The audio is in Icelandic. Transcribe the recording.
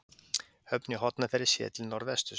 Höfn í Hornafirði séð til norðvesturs.